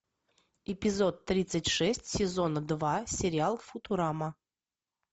эпизод тридцать шесть сезона два сериал футурама